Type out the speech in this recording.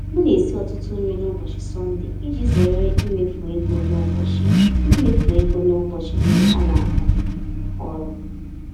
M na-esi ọtụtụ nri n'ụbọchị Sọnde iji zere imefu ego n'ụbọchị imefu ego n'ụbọchị ndị anaga ọrụ.